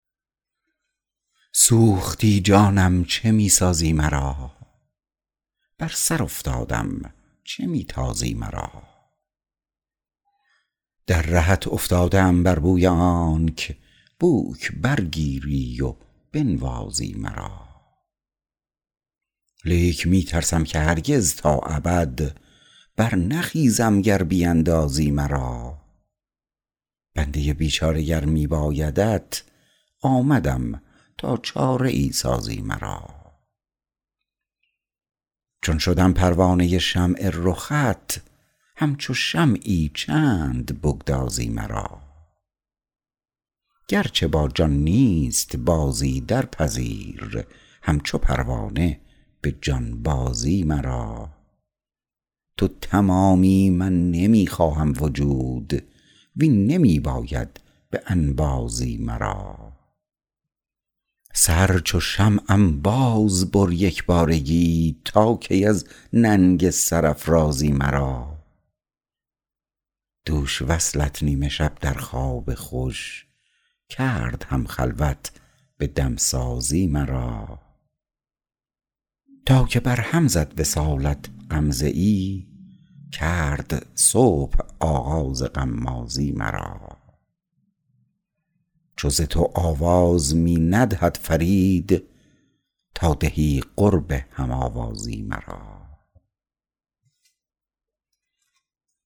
سوختی جانم چه می سازی مرا بر سر افتادم چه می تازی مرا در رهت افتاده ام بر بوی آنک بوک بر گیری و بنوازی مرا لیک می ترسم که هرگز تا ابد بر نخیزم گر بیندازی مرا بنده بیچاره گر می بایدت آمدم تا چاره ای سازی مرا چون شدم پروانه شمع رخت همچو شمعی چند بگدازی مرا گرچه با جان نیست بازی درپذیر همچو پروانه به جانبازی مرا تو تمامی من نمی خواهم وجود وین نمی باید به انبازی مرا سر چو شمعم بازبر یکبارگی تا کی از ننگ سرافرازی مرا دوش وصلت نیم شب در خواب خوش کرد هم خلوت به دمسازی مرا تا که بر هم زد وصالت غمزه ای کرد صبح آغاز غمازی مرا چو ز تو آواز می ندهد فرید تا دهی قرب هم آوازی مرا